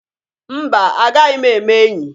Mba! Agaghi m eme enyi.